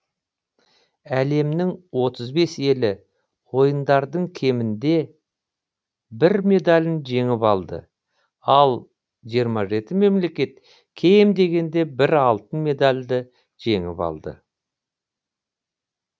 әлемнің отыз бес елі ойындардың кемінде бір медалін жеңіп алды ал жиырма жеті мемлекет кем дегенде бір алтын медальді жеңіп алды